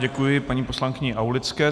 Děkuji paní poslankyni Aulické.